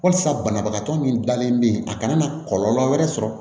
Walasa banabagatɔ min dalen bɛ yen a kana na kɔlɔlɔ wɛrɛ sɔrɔ